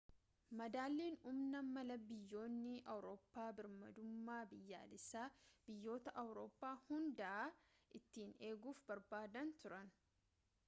madaalliin humnaa mala biyyoonni awurooppaa birmadummaa biyyaalessaa biyyoota awurooppaa hundaa ittiin eeguuf barbaadan ture